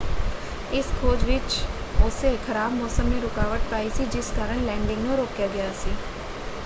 ਇਸ ਖੋਜ ਵਿੱਚ ਉੱਸੇ ਖਰਾਬ ਮੌਸਮ ਨੇ ਰੁਕਾਵਟ ਪਾਈ ਸੀ ਜਿਸ ਕਾਰਨ ਲੈਂਡਿੰਗ ਨੂੰ ਰੋਕਿਆ ਗਿਆ ਸੀ।